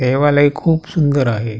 देवालय खूप सुंदर आहे.